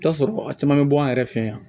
I bi t'a sɔrɔ a caman bɛ bɔ an yɛrɛ fɛ yan